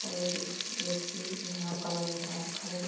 और एक व्यक्ति खडे है।